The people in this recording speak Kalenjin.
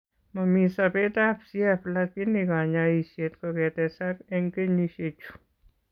Momii sobeet ab CF lakini kanyoiseet kokotesak eng' kenyisiekchu